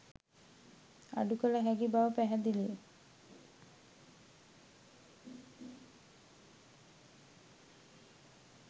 අඩු කළ හැකි බව පැහැදිලිය.